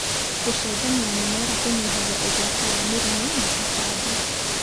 gũcenjania mĩmera kũnyihagia ũgwati wa mĩrimũ na tũtambi.